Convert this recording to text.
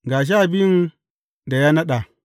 Ga sha biyun da ya naɗa.